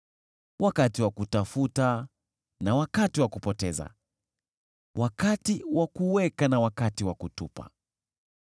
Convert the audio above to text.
wakati wa kutafuta na wakati wa kupoteza, wakati wa kuweka na wakati wa kutupa,